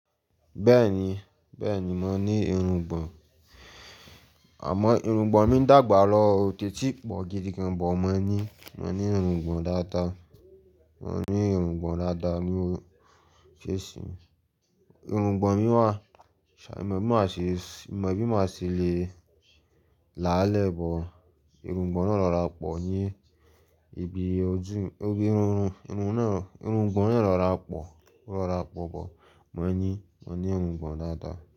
Bẹ́ẹ̀ni, bẹ́ẹ̀ni mò ní irùngbọ̀n, àmọ́ irùngbọ̀n mi dàgbà lọ o tèti pọ̀ gidi gan, but mò ní, mò ní irùngbọ̀n dáadáa, mò ní irùngbọ̀n dáadáa ni ó ṣe ṣí, irùngbọ̀n mi wà, ṣàì mi ò mọ bí màá ṣe, mo ò mọ bí màá ṣe le là á lẹ́ but, irungbọ̀n náà rọra pọ̀ ní ibi ojú, ibi irun, irun náà, irungbọ̀n náà rọra pọ̀, ó rọra pọ̀ bọ̀ mo ní, mò ní irungbọ̀n dáadáa.